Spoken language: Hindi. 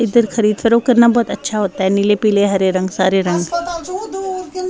इधर करना बहोत अच्छा होता हैं नीले पीले हरे रंग सारे रंग।